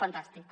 fantàstic